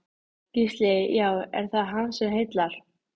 Auðvelt er að laga jöfnuna að breytilegum eðlismassa.